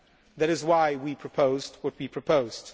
That is why we proposed what we proposed.